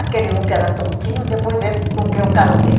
Aquele um que era tontinho, depois esse com quem eu casei.